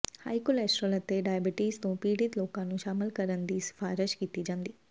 high cholesterol ਅਤੇ diabetes ਤੋਂ ਪੀੜਤ ਲੋਕਾਂ ਨੂੰ ਸ਼ਾਮਲ ਕਰਨ ਦੀ ਸਿਫਾਰਸ਼ ਕੀਤੀ ਜਾਂਦੀ ਹੈ